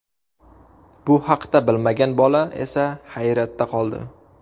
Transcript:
Bu haqda bilmagan bola esa hayratda qoldi.